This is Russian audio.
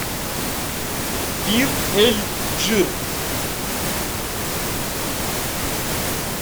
бир эль джир